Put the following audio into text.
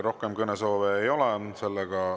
Rohkem kõnesoove ei ole.